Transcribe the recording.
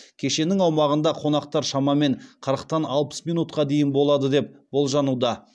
кешеннің аумағында қонақтар шамамен қырықтан алпыс минутқа дейін болады деп болжануда